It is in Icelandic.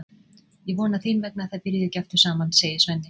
Ég vona þín vegna að þið byrjið ekki aftur saman, segir Svenni.